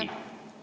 Ei.